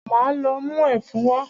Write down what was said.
Máa lọ mú ẹfun wá.